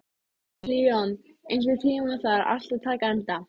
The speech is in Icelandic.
Leon, einhvern tímann þarf allt að taka enda.